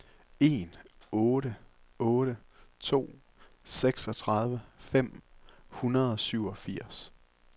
en otte otte to seksogtredive fem hundrede og syvogfirs